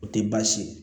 O tɛ baasi ye